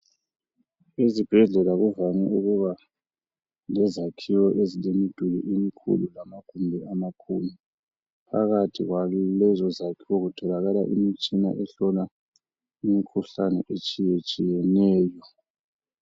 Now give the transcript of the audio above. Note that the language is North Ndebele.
Ezibhedlela kuvame ukuba lezakhiwo ezilemiduli emikhulu, lamagumbi amakhulu. Phakathi kwalezozakhiwo, kutholakala imitshina ehlola imikhuhlane, etshiyetshiyeneyo.